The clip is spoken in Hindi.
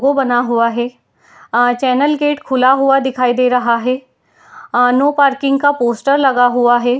वो बना हुआ है। अ चेनेल गेट खुला हुआ दिखाई दे रहा है। अ नो पार्किंग का पोस्टर लगा हुआ है।